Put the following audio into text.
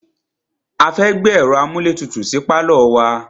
A fẹ́ gbé ẹ̀ro amúlétutù sí pálọ̀ wa.